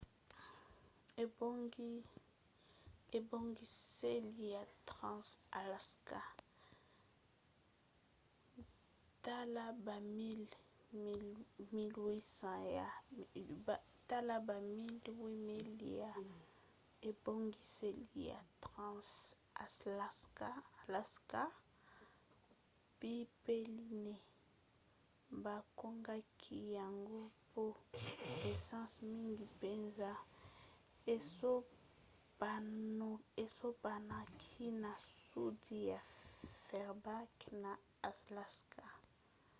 ntaka ya bamiles 800 ya ebongiseli ya trans-alaska pipeline bakangaki yango mpo essence mingi mpenza esopanaki na sudi ya fairbanks na alaska